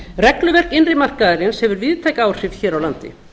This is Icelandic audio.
regluverk innri markaðarins hefur víðtæk áhrif hér á landi